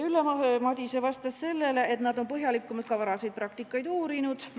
Ülle Madise vastas sellele, et nad on põhjalikumalt ka varasemat praktikat uurinud.